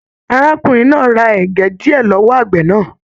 Arákùnrin náà rà ẹgẹ diẹ lọwọ àgbẹ náà.